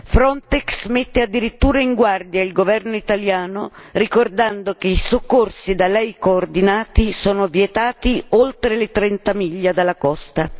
Frontex mette addirittura in guardia il governo italiano, ricordando che i soccorsi da lei coordinati sono vietati oltre le 30 miglia dalla costa.